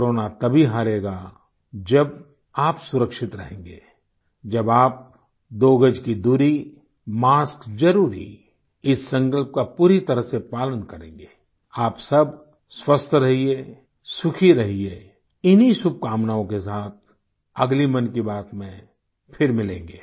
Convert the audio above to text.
corona तभी हारेगा जब आप सुरक्षित रहेंगे जब आप दो गज की दूरी मास्क जरुरी इस संकल्प का पूरी तरह से पालन करेंगे आप सब स्वस्थ रहिये सुखी रहिये इन्हीं शुभकामनाओं के साथ अगली मन की बात में फिर मिलेंगे